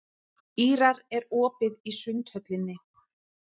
Ýrar, er opið í Sundhöllinni?